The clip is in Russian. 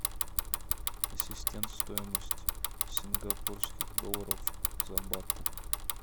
ассистент стоимость сингапурских долларов за баты